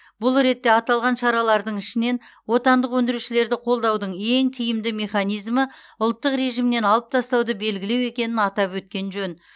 бұл ретте аталған шаралардың ішінен отандық өндірушілерді қолдаудың ең тиімді механизмі ұлттық режимнен алып тастауды белгілеу екенін атап өткен жөн